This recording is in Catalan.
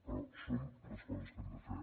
però són les coses que hem de fer